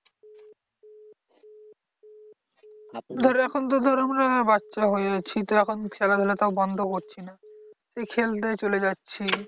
ধর এখন তো ধর আমি বাচ্চা হয়ে আছি, তো এখন খেলাধুলাটাও বন্ধ করছি না, খেলতে চলে যাচ্ছি।